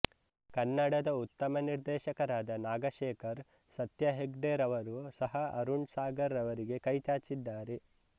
ಕನ್ನಡದ ಉತ್ತಮ ನಿರ್ದೇಶಕರಾದ ನಾಗಶೇಖರ್ ಸತ್ಯ ಹೆಗ್ಡೆರವರು ಸಹ ಅರುಣ್ ಸಾಗರ್ ರವರಿಗೆ ಕೈಚಾಚಿದ್ದಾರೆ